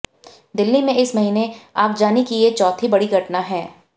दिल्ली में इस महीने आगजनी की ये चौथी बड़ी घटना है